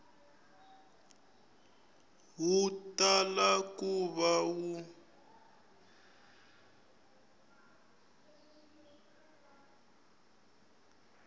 wu tala ku va wu